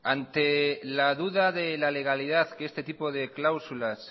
ante la duda de la legalidad que este tipo de cláusulas